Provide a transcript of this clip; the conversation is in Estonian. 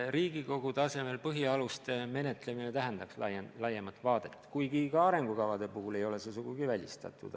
Riigikogu tasemel põhialuste menetlemine tähendaks laiemat vaadet, kuigi ka arengukavade puhul ei ole see sugugi välistatud.